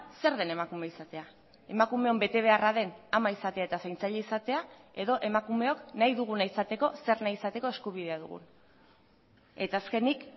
zer den emakume izatea emakumeon betebeharra den ama izatea eta zaintzaile izatea edo emakumeok nahi duguna izateko zer nahi izateko eskubidea dugun eta azkenik